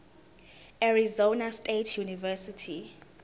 arizona state university